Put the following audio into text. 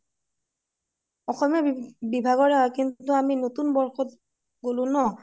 অসমীয়া বিভাগৰ হয় কিন্তু আমি বৰ্ষত গলো ন